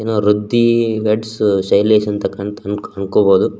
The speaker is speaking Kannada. ಎನೊ ಋದ್ದೀ ವೆಡ್ಸ್ ಶೈಲೇಶ್ ಅಂತಕಂತ್ ಅಂಕ್ ಅನ್ಕೋಬಹುದು.